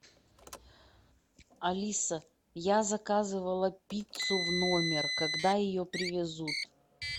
алиса я заказывала пиццу в номер когда ее привезут